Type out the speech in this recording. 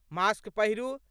mask पहिरू